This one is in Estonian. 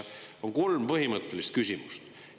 On kolm põhimõttelist küsimust.